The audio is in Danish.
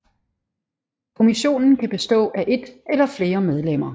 Kommissionen kan bestå af et eller flere medlemmer